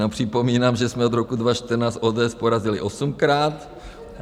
Jenom připomínám, že jsme od roku 2014 ODS porazili osmkrát.